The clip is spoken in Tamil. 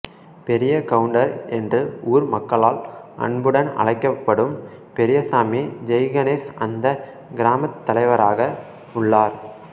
பெரிய கவுண்டர் என்று ஊர் மக்களால் அன்புடன் அழைக்கப்படும் பெரியசாமி ஜெய்கணேஷ் அந்தக் கிராமத் தலைவராக உள்ளார்